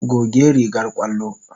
Goge rigar ƙwallo.